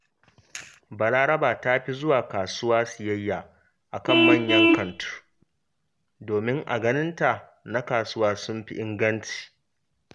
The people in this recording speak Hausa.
Balaraba ta fi zuwa kasuwa siyayya a kan manyan kantu, domin a ganinta na kasuwa sun fi inganci